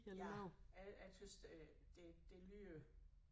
Ja jeg jeg tøs det det det lyder